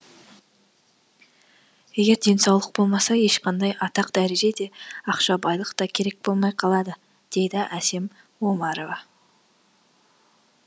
егер денсаулық болмаса ешқандай атақ дәреже де ақша байлық та керек болмай қалады дейді әсем омарова